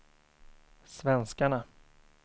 svenskarna